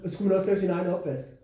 Og så skulle man også lave sin egen opvask